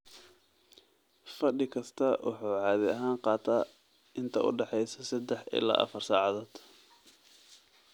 Fadhi kastaa wuxuu caadi ahaan qaataa inta u dhaxaysa saddex ilaa afar saacadood.